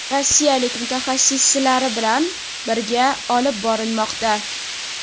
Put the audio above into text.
rossiyalik mutaxassisilari bilan birga olib borilmoqda.